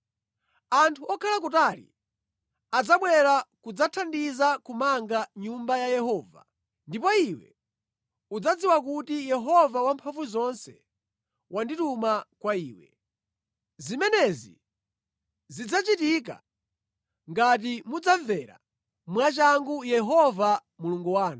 Anthu okhala kutali adzabwera kudzathandiza kumanga Nyumba ya Yehova, ndipo iwe udzadziwa kuti Yehova Wamphamvuzonse wandituma kwa iwe. Zimenezi zidzachitika ngati mudzamvera mwachangu Yehova Mulungu wanu.”